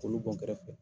K'olu bɔn kɛrɛfɛ